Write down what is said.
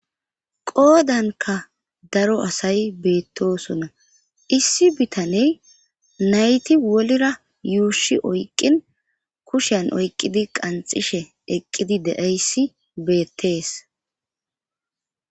Qoodanka daro asay beettosonna issi bitaney nayti wolira yuushi oyqqin kushan oyqqidi qanxishe eqqidi deeyssi beettees.